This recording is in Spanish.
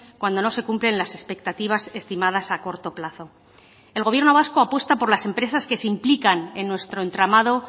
cuando no se cumplen las expectativas estimadas a corto plazo el gobierno vasco apuesta por las empresas que se implican en nuestro entramado